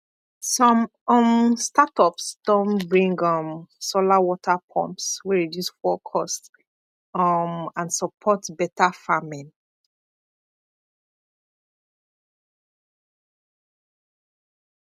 some um startups don bring um solar water pumps wey reduce fuel cost um and support better farming